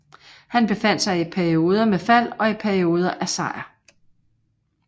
Han befandt sig i perioder med fald og i perioder af sejr